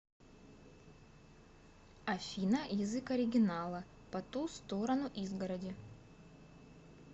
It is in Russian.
афина язык оригинала по ту сторону изгороди